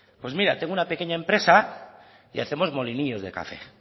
pues mira tengo una pequeña empresa y hacemos molinillos de café